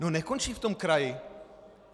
No nekončí v tom kraji.